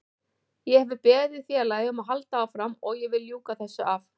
Ég hef beðið félagið um að halda áfram og ég vil ljúka þessu af.